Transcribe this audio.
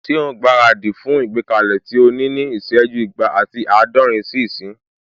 Ṣé òun gbára dì fún ìgbékalẹ̀ tí o ní ní ìsẹ́jú igba ati àádọ́rin sí ìsín?